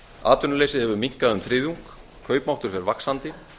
atvinnuleysið hefur minnkað um þriðjung kaupmáttur fer vaxandi